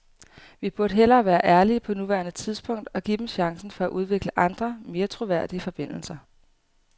Vi burde hellere være ærlige på nuværende tidspunkt og give dem chancen for at udvikle andre, mere troværdige forbindelser.